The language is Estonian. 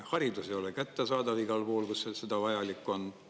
Haridus ei ole kättesaadav igal pool, kus seda vajalik on.